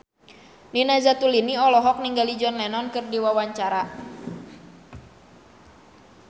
Nina Zatulini olohok ningali John Lennon keur diwawancara